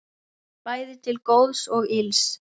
Bæði til góðs og ills.